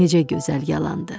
Necə gözəl yalandır.